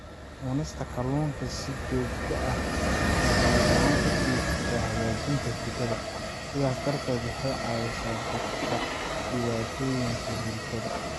Cunista kalluunka si joogto ah waxay gacan ka geysataa hagaajinta hurdada, sidaas darteed waxay caawisaa dadka dhibaatooyinka hurdada.